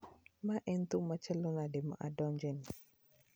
Mae en thum machalo nade ma adonjeni